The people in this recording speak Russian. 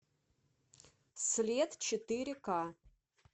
след четыре ка